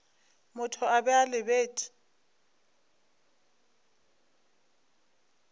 motho a be a lebeletše